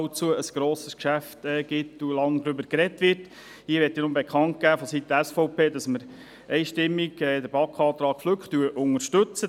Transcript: Ich möchte nur vonseiten der SVP bekannt geben, dass wir den BaK-Antrag Flück einstimmig unterstützen.